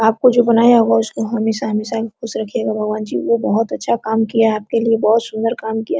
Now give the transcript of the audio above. आपको जो बनाया होगा उसको हमेशा- हमेशा खुश रखियेगा भगवान जी वो बहुत अच्छा काम किया है आपके लिए बहुत सुन्दर काम किया है।